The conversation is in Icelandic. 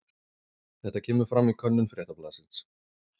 Þetta kemur fram í könnun Fréttablaðsins